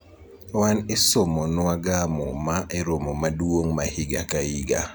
wan isomo nwaga muma e romo maduong' ma higa ka higa